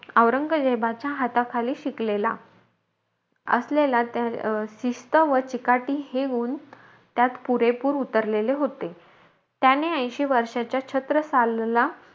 औरंगजेबाच्या हाताखाली शिकलेला, असलेला त्या अं शिस्त व चिकाटी, हे गुण त्यात पुरेपूर उतरलेले होते. त्यांनी ऐशी वर्षाच्या छत्रसालला,